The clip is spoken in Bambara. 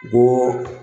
Bɔɔ